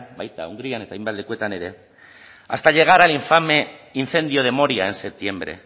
baita hungrian eta hainbat lekutan ere hasta llegar al infame incendio de moria en septiembre